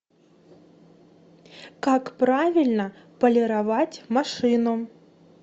как правильно полировать машину